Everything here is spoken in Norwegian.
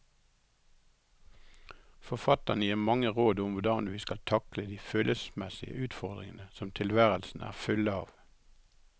Forfatteren gir mange råd om hvordan vi skal takle de følelsesmessige utfordringer som tilværelsen er full av.